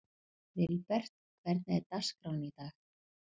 Vilbert, hvernig er dagskráin í dag?